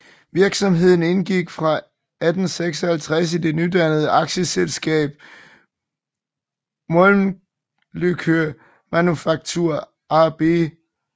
Virksomheden indgik fra 1856 i det nydannede aktieselskab Mölnlycke Manufaktur AB